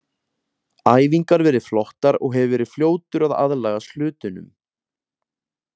Æfingar verið flottar og hef verið fljótur að aðlagast hlutunum.